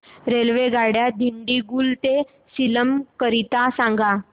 रेल्वेगाड्या दिंडीगुल ते सेलम करीता सांगा